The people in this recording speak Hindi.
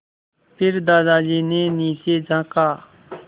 फिर दादाजी ने नीचे झाँका